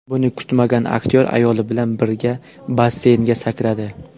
Buni kutmagan aktyor ayoli bilan birga basseynga sakradi.